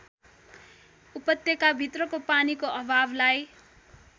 उपत्यकाभित्रको पानीको अभावलाई